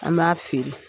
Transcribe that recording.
An b'a feere